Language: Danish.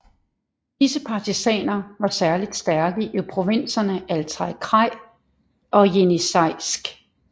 Disse partisaner var særligt stærke i provinserne Altaj kraj og Jenisejsk